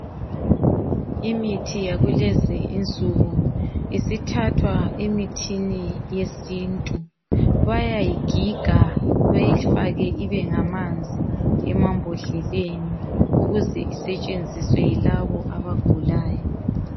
Imithiyakulezi insuku isithathwa emithini yesintu bayayigiga bayifake ibengamanzi emambodleleni ukuze isetshenziswe yilabo abagulayo.